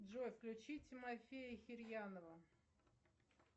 джой включи тимофея хирьянова